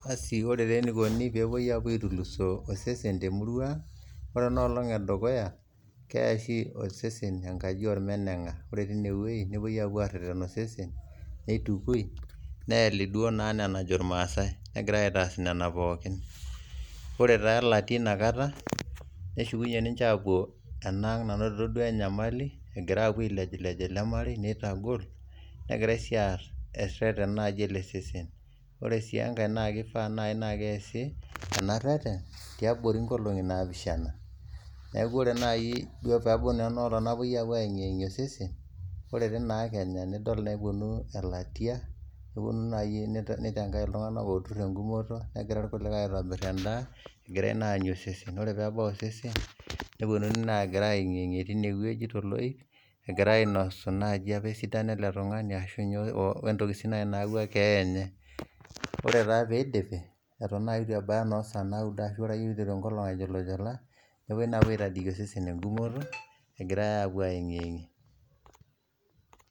Ore taa neikoni peepo aitulusoo osesen te murua, ore ana olong edukuya ketai oshi osesen enkajo olmeneng'a ,ore teine weji nepoi aapo aareten osesen neitukoi neeli duo naa anaa najo lmaasai ,negirai ake aas nena pookin, ore taa illati inakata neshukunye ninche aapo enaang nanotito duo enyamali egira aapo ailejlej ilo irmarei, neitagol negirai sii aas ereten naaji ele sesen, ore sii enkae naa keifaa nai naa keasi ena reten tiabori inkolong'i naapishana, neaku ore enaai peaku etaa kepoi aeng'ieng'i osesen nidol naa eponu ill'atia, neponu naa iye neitengai ltungana ooturr eng'umoto negira ilkulikae aitobirr indaa egirai naai aanyu osesen, ore peebasu osesen neponii naa aieng'iebg'i teineweji te loip egirai ainosu inaaji esidano apa ele tungani ashu ninye ontoki naewu ekeeya enye, ore sii peidipi eton naii etu ebaya saaii naudo ashu eyeu enkolong ainyolunyol nepoi aitodoyo osesen eng'umooto egirai aapo aieng'engie.